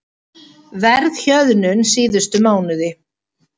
Verðhjöðnun síðustu mánuði